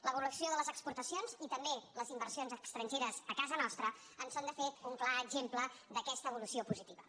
l’evolució de les exportacions i també les inversions estrangeres a casa nostra en són de fet un clar exemple d’aquesta evolució positiva